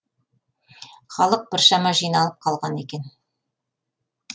халық біршама жиналып қалған екен